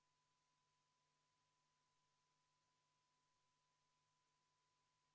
Meil on vaja võtta seisukoht Sotsiaaldemokraatliku Erakonna fraktsiooni ja EKRE fraktsiooni ettepaneku kohta katkestada eelnõu 381 teine lugemine.